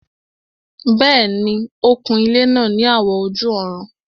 Bẹ́ẹ̀ni, ó kun ilẹ́ náà ní àwọ̀ ojú-ọ̀run